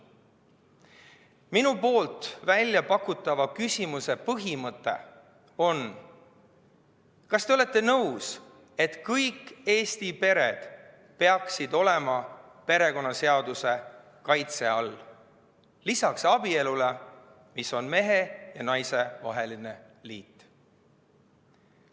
Minu poolt väljapakutava küsimuse põhimõte on: kas te olete nõus, et kõik Eesti pered peaksid olema perekonnaseaduse kaitse all, lisaks abielule, mis on mehe ja naise vaheline liit?